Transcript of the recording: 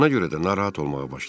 Ona görə də narahat olmağa başladım.